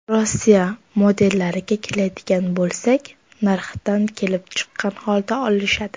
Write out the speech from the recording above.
Rossiya modellariga keladigan bo‘lsak, narxidan kelib chiqqan holda olishadi.